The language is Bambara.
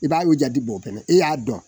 I b'a yi jati bɔ fɛnɛ e y'a dɔn